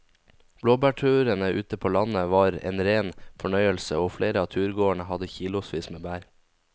Blåbærturen ute på landet var en rein fornøyelse og flere av turgåerene hadde kilosvis med bær.